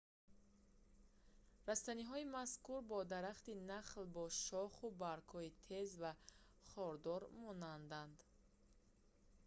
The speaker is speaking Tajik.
растаниҳои мазкур ба дарахти нахл бо шоху баргҳои тез ва хордор монанданд